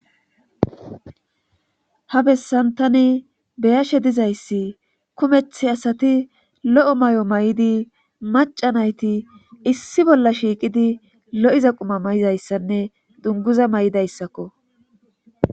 Ha bessantani be'ashe dizayssi kumetta asati lo'o mayi mayidi maca naatii issi bolla shiiqidi lo'iza quma may'izayssanne dunguza maayida issakko.